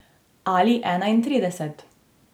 Ali enaintrideset.